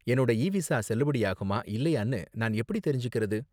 என்னோட e visa செல்லுபடியாகுமா இல்லயானு நான் எப்படி தெரிஞ்சிக்கிறது